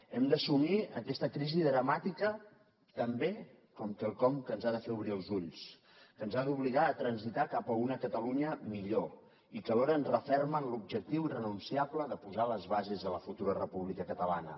hem d’assumir aquesta crisi dramàtica també com quelcom que ens ha de fer obrir els ulls que ens ha d’obligar a transitar cap a una catalunya millor i que alhora ens referma en l’objectiu irrenunciable de posar les bases a la futura república catalana